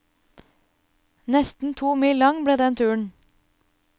Nesten to mil lang ble den turen.